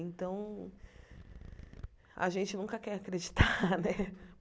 Então, a gente nunca quer acreditar, né?